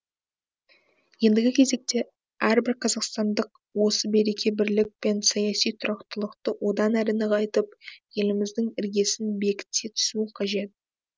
ендігі кезекте әрбір қазақстандық осы береке бірлік пен саяси тұрақтылықты одан әрі нығайтып еліміздің іргесін бекіте түсуі қажет